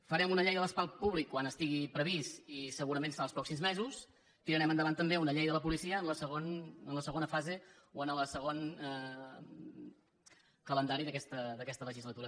farem un llei de l’espai públic quan estigui previst i segurament serà als pròxims mesos tirarem endavant també una llei de la policia en la segona fase o en el segon calendari d’aquesta legislatura